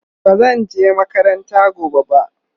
bazan je makaranta gobe ba